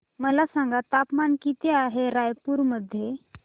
मला सांगा तापमान किती आहे रायपूर मध्ये